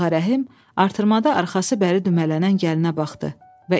Ağa Rəhim artırmada arxası bəri dönənlərin gəlinə baxdı.